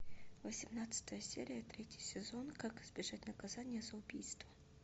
восемнадцатая серия третий сезон как избежать наказания за убийство